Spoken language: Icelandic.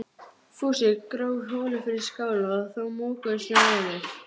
Ég hélt þú bragðaðir það ekki lengur